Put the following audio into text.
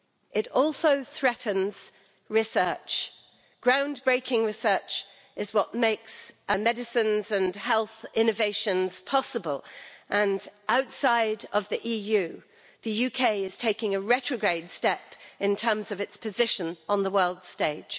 It also threatens research ground breaking research is what makes medicines and health innovations possible and outside of the EU, the UK is taking a retrograde step in terms of its position on the world stage.